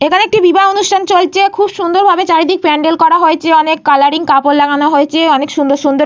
এখানে একটি বিবাহ অনুষ্ঠান চলছে খুব সুন্দর ভাবে চারিদিক প্যান্ডেল করা হয়েছে। অনেক কালারিং কাপড় লাগানো হয়েছে অনেক সুন্দর সুন্দর --